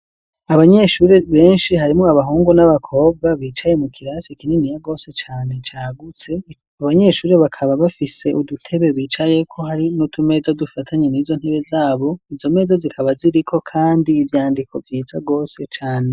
Abanyeshure benshi, harimwo abahungu, n'abakobwa, bicaye mu kirasi, kininiya gose cane, cagutse; abanyeshure, bakaba bafise, udutebe bicayeko, hari n'utumeza, dufatanye n'izo ntebe, zabo; izo meza zikaba, ziriko kandi, ivyandiko, vyiza gose cane.